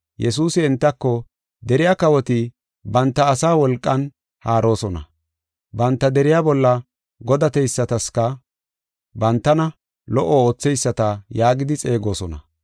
Yesuusi entako, “Deriya kawoti banta asaa wolqan haaroosona; banta deriya bolla godateysataska bantana, ‘Lo77o ootheyisata’ yaagidi xeegosona.